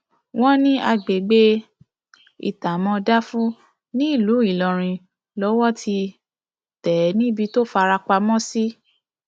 wọn ní agbègbè um itààmọdáfú nílùú ìlọrin lowó ti um tẹ ẹ níbi tó fara pamọ sí